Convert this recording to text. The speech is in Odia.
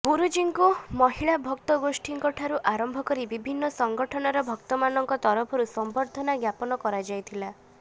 ଗୁରୁଜୀଙ୍କୁ ମହିଳା ଭକ୍ତ ଗୋଷ୍ଠୀଙ୍କ ଠାରୁ ଆରମ୍ଭ କରି ବିଭିନ୍ନ ସଂଗଠନର ଭକ୍ତମାନଙ୍କ ତରଫରୁ ସମ୍ବର୍ଦ୍ଧନା ଜ୍ଞାପନ କରାଯାଇଥିଲା